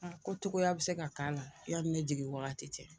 Ko cogoa bɛ se ka k'a la i yanni ne jigin wagati cɛ